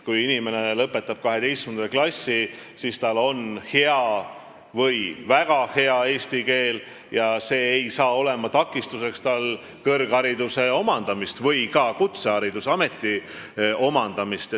Kui inimene lõpetab 12. klassi, siis tal on hea või väga hea eesti keel ja keeleoskus ei saa olla takistuseks kõrghariduse või ka kutsehariduse omandamisel, ameti omandamisel.